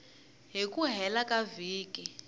hi ku hela ka vhiki